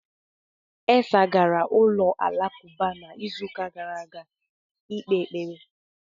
Isah gara ụlọ alakụba n'izuụka gara aga ikpe ekpere.